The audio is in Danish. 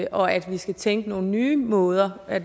og at vi skal tænke i nogle nye måder at